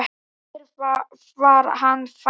Hér var hann fæddur.